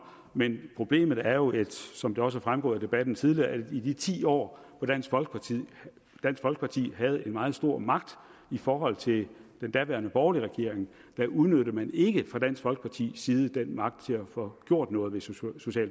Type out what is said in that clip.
men problemet er jo som det også er fremgået af debatten tidligere at i de ti år hvor dansk folkeparti havde en meget stor magt i forhold til den daværende borgerlige regering udnyttede man ikke fra dansk folkepartis side den magt til at få gjort noget ved social